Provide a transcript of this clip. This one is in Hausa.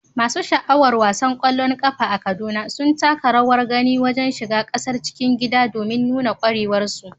Masu sha'awar wasan ƙwallon ƙafa a Kaduna sun taka rawar gani wajen shiga gasar cikin gida domin nuna ƙwarewarsu.